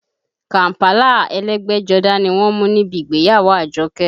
Kàm̀pálà ẹlẹ́gbẹ́jọdá ni wọ́n mú níbi ìgbéyàwó Àjọkẹ́